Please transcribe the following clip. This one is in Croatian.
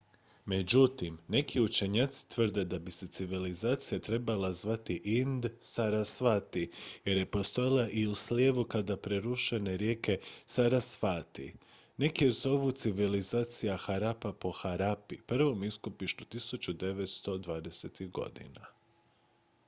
međutim neki učenjaci tvrde da bi se civilizacija trebala zvati ind-sarasvati jer je postojala i u slijevu sada presušene rijeke sarasvati neki je zovu civilizacija harappa po harappi prvom iskopištu 1920-ih godina